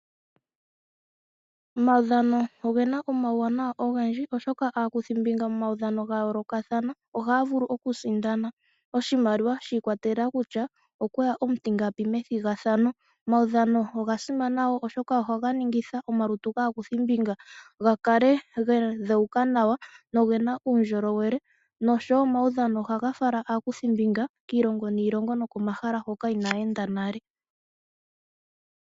Omaudhano ogena omauwanawa, ogendji, oshoka askuthimbinga ya yoolokathana oha ya vulu okwisindanena oshimaliwa, kutya okwe ya omutingapi methigathano. Omaudhano oga simana woo oshoka oha ga ningitha omaluru gaa kuthimbinga ga kale ga dheuka nawa nogena uundjolowele nosho wo omaudhano oha ga fala aakuthimbinga kiilongo niilongo nokomahala hono Ina ya enda nale.